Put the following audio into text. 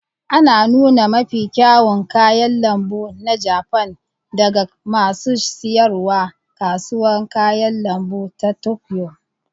Ana nuna mafi kyawun kayan lambu na Jafan daga masu siyarwa a Kasuwar Kayan lambu ta Tokyo.